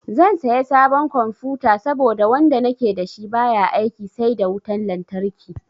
Zan saya sabon confuta saboda wanda nake da shi baya aiki sai da wutan lantarki.